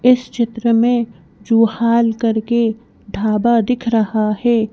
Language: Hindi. इस चित्र में जुहाल करके ढाबा दिख रहा है।